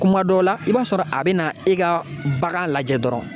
Kuma dɔ la i b'a sɔrɔ a bɛ na e ka bagan lajɛ dɔrɔn